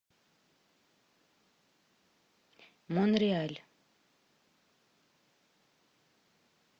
монреаль